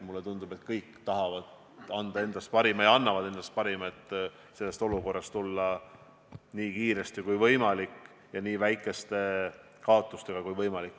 Mulle tundub, et me kõik tahame anda endast parima ja kõik annavadki endast parima, et tulla sellest olukorrast välja nii kiiresti kui võimalik ja nii väikeste kaotustega kui võimalik.